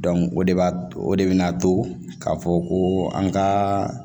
o de b'a to o de bɛna to k'a fɔ ko an ka